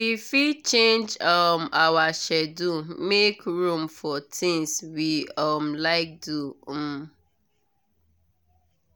we fit change um our schedule make room for things we um like do um